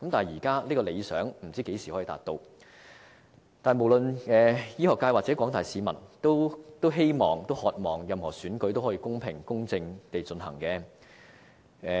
現在這個理想不知道何時才能達到，但無論是醫學界或廣大市民，都渴望任何選舉也可以公平、公正地進行。